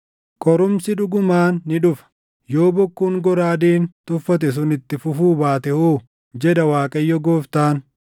“ ‘Qorumsi dhugumaan ni dhufa. Yoo bokkuun goraadeen tuffate sun itti fufuu baate hoo? jedha Waaqayyo Gooftaan.’